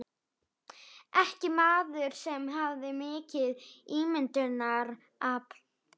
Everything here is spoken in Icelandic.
Ekki maður sem hafði mikið ímyndunarafl.